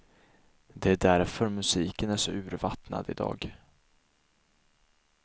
Det är därför musiken är så urvattnad idag.